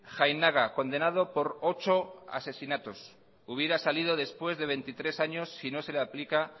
jainaga condenado por ocho asesinatos hubiera salido después de veintitrés años si no se le aplica